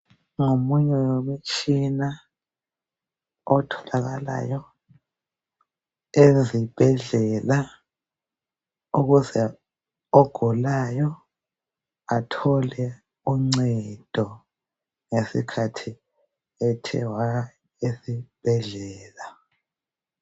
Ngomunye wemitshina otholakalayo ezibhedlela ukuze ogulayo athole uncedo ngesikhathi ethe waya esibhedlela.